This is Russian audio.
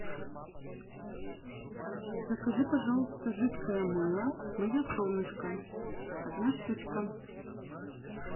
закажи пожалуйста жидкое мыло мое солнышко одна штучка